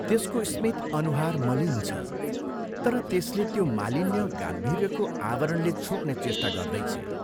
त्यसको स्मित अनुमान मलिन छ तर त्यसले त्यो मालिन्य गाम्भीर्यको आवरणले छोप्ने चेष्टा गर्दैछे।